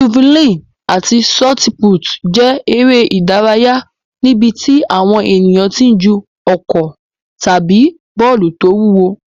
Jafulíìnì àti ṣọtipútì jẹ́ eré ìdárayá níbi tí àwọn ènìyàn ti ń ju ọ̀kọ̀ tàbí bọ́ọ̀lù tó wúwo.